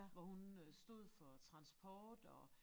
Hvor hun øh stod for transport og